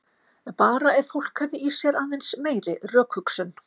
Bara ef fólk hefði í sér aðeins meiri rökhugsun.